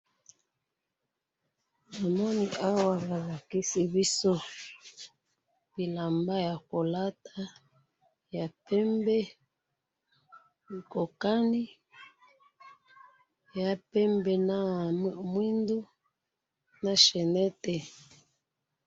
Namoni awa bolakisi biso bilamba yakolata yapembe, ekokani, eya pembe na mwindu, na chainette